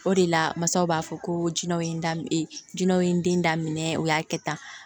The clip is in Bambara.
O de la masaw b'a fɔ ko jinɛw ye jinɛw ye n den da minɛ u y'a kɛ tan